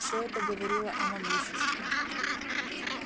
всё это говорило о могуществе